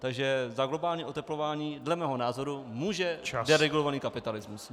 Takže za globální oteplování dle mého názoru může deregulovaný kapitalismus.